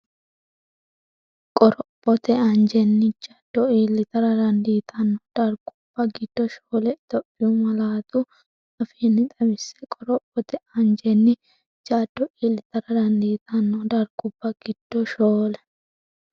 Qorophote anjenni jaddo iillitara dandiitanno dargubba giddo shoole Itophiyu malaatu afiinni xawisse Qorophote anjenni jaddo iillitara dandiitanno dargubba giddo shoole.